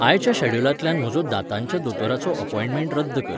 आयच्या शॅड्युलांतल्यान म्हजो दांताच्या दोतोराचो अपॉयंटमेंट रद्द कर